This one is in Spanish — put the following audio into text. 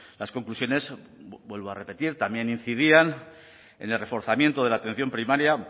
las conclusiones vuelvo a repetir también incidían en el reforzamiento de la atención primaria